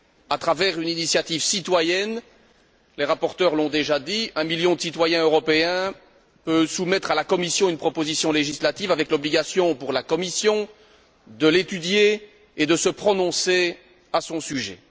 À travers une initiative citoyenne les rapporteurs l'ont déjà dit un million de citoyens européens peut soumettre à la Commission une proposition législative avec l'obligation pour la Commission, de l'étudier et de se prononcer à son sujet.